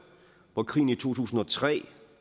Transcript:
hvor krigen i to tusind og tre